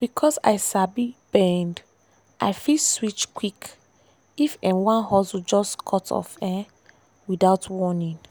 because i sabi bend i fit switch quick if um one hustle just cut off um without warning.